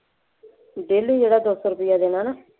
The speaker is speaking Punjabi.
daily ਜਿਹੜਾ ਦੋ ਸੌ ਰੁਪਇਆ ਦੇਣਾ ਨਾ